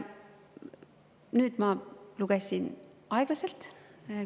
Nüüd ma lugesin aeglaselt.